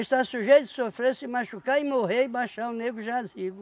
sujeito de sofrer, se machucar e morrer e baixar o negro jazigo.